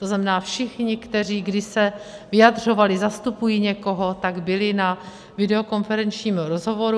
To znamená, všichni, kteří kdy se vyjadřovali, zastupují někoho, tak byli na videokonferenčním rozhovoru.